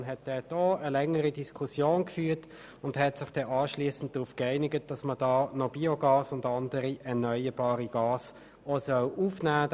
Die Kommission führte dort eine längere Diskussion und einigte sich dann darauf, dass auch Biogas und andere erneuerbare Gase aufgenommen werden sollen.